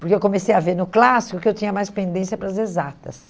Porque eu comecei a ver no clássico que eu tinha mais pendência para as exatas.